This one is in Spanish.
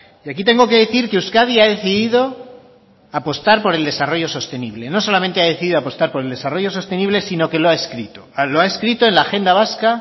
y aquí tengo que decir que euskadi ha decidido apostar por el desarrollo sostenible no solamente ha decidido apostar por el desarrollo sostenible sino que lo ha escrito lo ha escrito en la agenda vasca